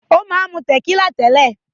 Ó máa ń mu tẹ̀kílà tẹ́lẹ̀.